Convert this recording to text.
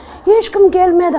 ешкім келмеді